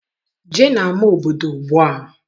Jee n'ama obodo ugbua!